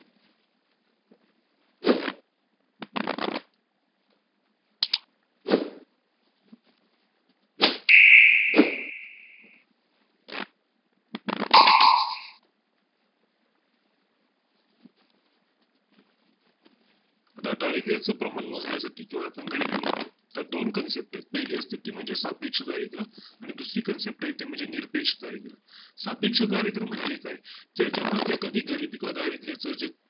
आता दारिद्र्याचे प्रमाण मोजण्या साठी, किंवा आपण गरीबी म्हणतो तर दोन Concept आहेत पहिली असते ती म्हणजे सापेक्ष दारिद्रय़ आणि दुसरी Concept आहे ते म्हणजे निरपेक्ष दारिद्य सापेक्ष दारिद्रय़ म्हणजे काय ते जेव्हा जे कधी गरिबी असता जे